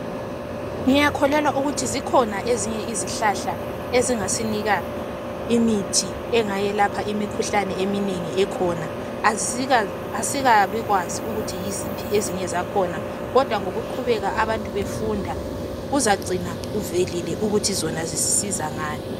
Ngiyakholelwa ukuthi zikhona ezinye izihlahla ezingasinika imithi engayelapha imikhuhlane eminengi ekhona asikabikwazi ukuthi yiziphi ezinye zakhona kodwa ngokuqhubeka abantu befunda kuzagcina kuvelile ukuthi zona zisisiza ngani.